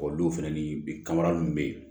O don fɛnɛ ni bi kamanaw be yen